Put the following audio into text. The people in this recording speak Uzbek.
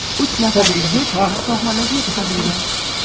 Uch nafar yigit shifoxonaga yetkazilgan.